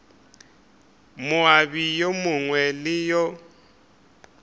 moabi yo mongwe le yo